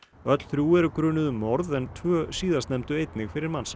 öll þrjú eru grunuð um morð en tvö síðastnefndu einnig fyrir mansal